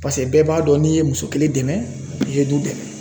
Paseke bɛɛ b'a dɔn n'i ye muso kelen dɛmɛ i ye du dɛmɛ.